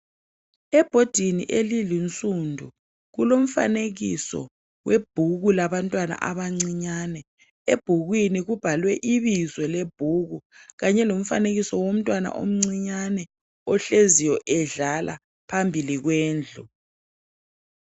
Ebhodini elinsundu kulomfanekiso webhuku labantwana abancinyane ebhukwini kubhalwe ibizo lebhuku kanye lomfanekiso womtwana omncinyane ohleziyo edlala phambili kwendlu